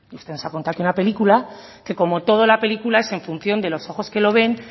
usted nos ha contado aquí una película que como toda la película es en función de los ojos que lo ven